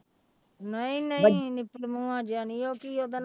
ਨਹੀਂ ਨਹੀਂ ਨਿਪਲ ਮੂੰਹਾ ਜਿਹਾ ਨੀ ਉਹ ਕੀ ਉਹਦਾ ਨਾਂ